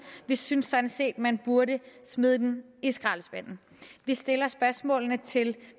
vi synes sådan set man burde smide den i skraldespanden vi stiller spørgsmålene til